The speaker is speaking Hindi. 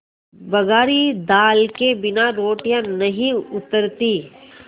बघारी दाल के बिना रोटियाँ नहीं उतरतीं